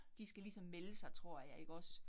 De skal ligesom melde sig tror jeg ikke også